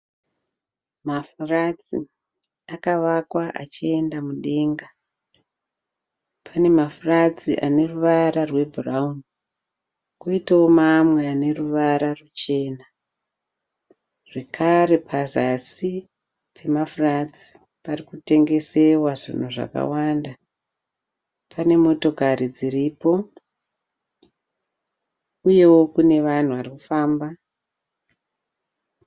Mafuratsi akavakwa achienda mudenga. Pane mafuratsi ane ruvara rwebhurawuni kwoitawo mamwe ane ruvara ruchena zvekare pazasi pemafuratsi pari kutengesewa zvinhu zvakawanda. Pane motokari dziripo uyewo kune vanhu vari kufamba.